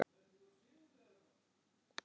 MATRÁÐSKONA: Kom ekki froða?